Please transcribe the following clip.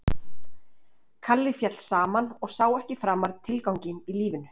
Kalli féll saman og sá ekki framar tilganginn í lífinu.